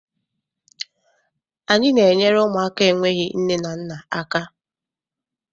Anyị na-enyere ụmụaka enweghị nne na nna aka.